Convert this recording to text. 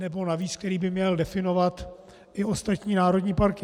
Nebo navíc, který by měl definovat i ostatní národní parky.